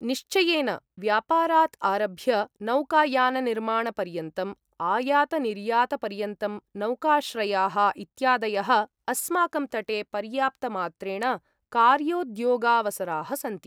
निश्चयेन! व्यापारात् आरभ्य नौकायाननिर्माणपर्यन्तम्, आयातनिर्यातपर्यन्तं, नौकाश्रयाः इत्यादयः, अस्माकं तटे पर्याप्तमात्रेण कार्योद्योगावसराः सन्ति।